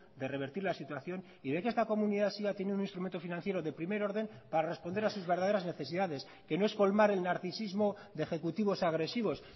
de revertir la situación y de que esta comunidad siga teniendo un instrumento financiero de primer orden para responder a sus verdaderas necesidades que no es colmar el narcisismo de ejecutivos agresivos